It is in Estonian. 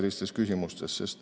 Aitäh!